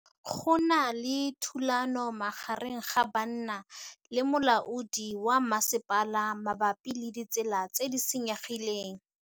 Go na le thulanô magareng ga banna le molaodi wa masepala mabapi le ditsela tse di senyegileng.